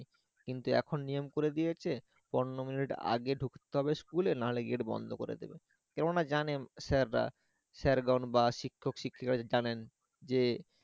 কিন্তু এখন নিয়ম করে দিয়েছে পনের minute আগে ডুকতে হবে school এ না হলে gate বন্ধ করে দেবে, কেন না জানেন sir স্যারগন বা শিক্ষক-শিক্ষিকা জানেন যে